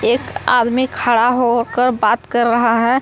एक आदमी खड़ा हो होकर बात कर रहा है।